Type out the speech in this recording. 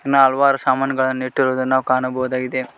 ಹಲ್ವಾರು ಸಾಮಾನುಗಳನ್ನು ಇಟ್ಟಿರುವುದನ್ನು ನಾವು ಕಾಣಬಹುದಾಗಿದೆ.